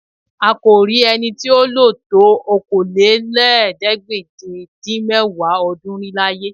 À kò rí ẹni tí ó lò tó Okòólélẹ́ẹ̀ẹ́dégbèje-dín-mẹ́wàá ọdún rí láyé